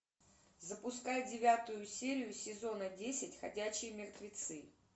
запускай девятую серию сезона десять ходячие мертвецы